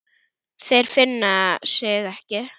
Þeir finna sig ekki.